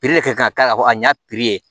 de ka k'a la a ɲ'a